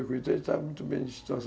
Então ele está muito bem de situação.